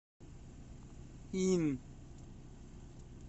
ин